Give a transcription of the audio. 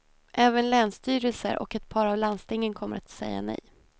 Även länsstyrelser och ett par av landstingen kommer att säga nej.